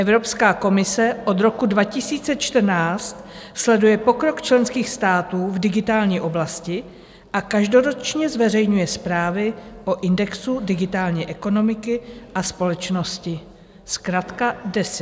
Evropská komise od roku 2014 sleduje pokrok členských států v digitální oblasti a každoročně zveřejňuje zprávy o indexu digitální ekonomiky a společnosti, zkratka DESI.